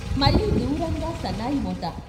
మళ్ళీ దూరంగా సన్నాయి మోత.